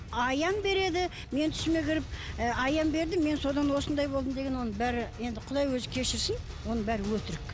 аян береді менің түсіме кіріп ы аян берді мен содан осындай болдым деген енді бәрі енді құдай өзі кешірсін оның бәрі өтірік